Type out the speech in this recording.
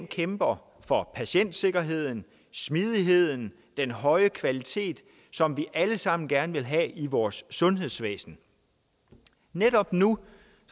kæmper for patientsikkerheden smidigheden den høje kvalitet som vi alle sammen gerne vil have i vores sundhedsvæsen netop nu